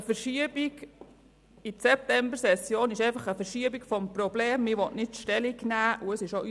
Eine Verschiebung in die Septembersession ist einfach eine Verschiebung des Ich-will-nicht-Stellung-nehmen-Problems.